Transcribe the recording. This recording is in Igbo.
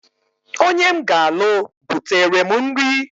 Onye m ga-alụ butere m nri.